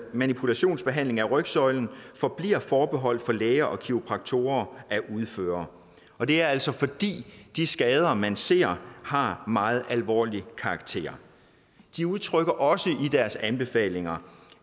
manipulationsbehandling af rygsøjlen forbliver forbeholdt læger og kiropraktorer at udføre og det er altså fordi de skader man ser har meget alvorlig karakter de udtrykker også i deres anbefalinger